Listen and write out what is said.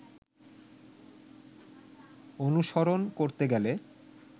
অনুসরণ করতে গেলে